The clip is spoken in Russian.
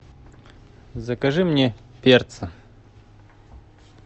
закажи мне перца